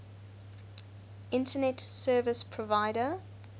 internet service provider